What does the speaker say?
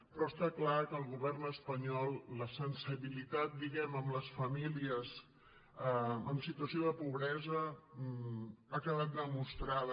però està clar que al govern espanyol la sensibilitat diguemne amb les famílies en situació de pobresa ha quedat demostrada